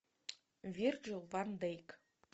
вирджил ван дейк